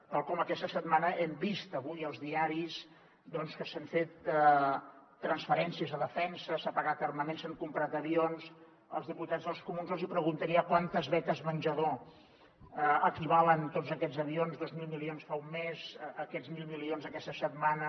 tal com aquesta setmana hem vist avui als diaris que s’han fet transferències a defensa s’ha pagat armament s’han comprat avions als diputats dels comuns jo els hi preguntaria a quantes beques menjador equivalen tots aquests avions dos mil milions fa un mes aquests mil milions aquesta setmana